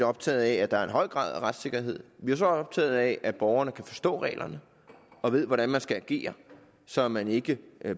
optaget af at der er en høj grad af retssikkerhed vi er også optaget af at borgerne kan forstå reglerne og ved hvordan man skal agere så man ikke